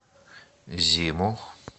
зиму